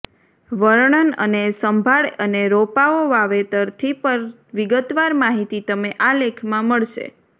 વર્ણન અને સંભાળ અને રોપાઓ વાવેતરથી પર વિગતવાર માહિતી તમે આ લેખમાં મળશે